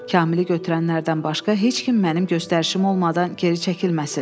Kamili götürənlərdən başqa heç kim mənim göstərişim olmadan geri çəkilməsin.